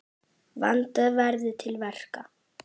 Vandað verði til verka.